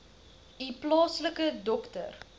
u plaaslike dokter